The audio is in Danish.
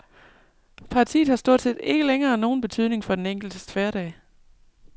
Partiet har stort set ikke længere nogen betydning for den enkeltes hverdag.